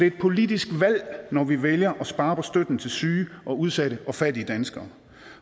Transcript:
et politisk valg når vi vælger at spare på støtten til syge og udsatte og fattige danskere